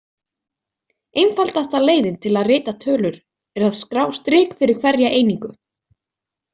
Einfaldasta leiðin til að rita tölur er að skrá strik fyrir hverja einingu.